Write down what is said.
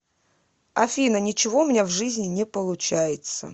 афина ничего у меня в жизни не получается